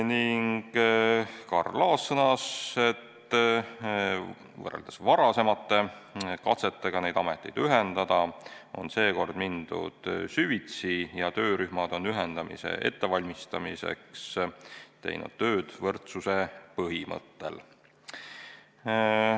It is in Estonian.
Karl Laas sõnas, et võrreldes varasemate katsetega neid ameteid ühendada on seekord mindud süvitsi ja töörühmad on ühendamise ettevalmistamiseks teinud tööd võrdsuse põhimõttel.